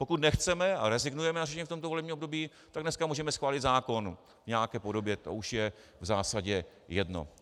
Pokud nechceme a rezignujeme na řešení v tomto volebním období, tak dneska můžeme schválit zákon v nějaké podobě, to už je v zásadě jedno.